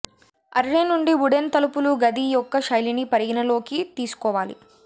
array నుండి wooden తలుపులు గది యొక్క శైలిని పరిగణలోకి తీసుకోవాలి